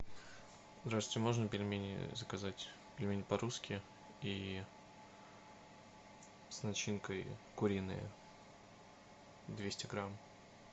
здравствуйте можно пельмени заказать пельмени по русски и с начинкой куриные двести грамм